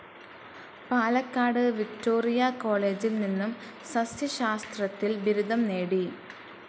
Palakkad Victoria കോളേജിൽ നിന്നും സസ്യശാസ്ത്രത്തിൽ ബിരുദം നേടി.